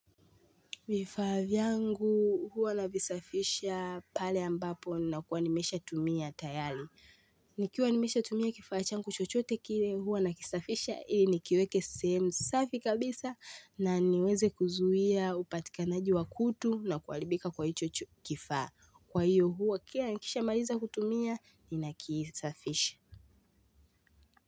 Vifaa vyangu huwa navisafisha pale ambapo nakuwa nimeshatumia tayari. Nikiwa nimesha tumia kifaa changu chochote kile huwa nakisafisha ili nikiweke sehemu safi kabisa na niweze kuzuia upatikanaji wa kutu na kuaribika kwa hicho cho kifaa. Kwa hiyo huwa kila nikisha mariza kutumia nina kisafisha.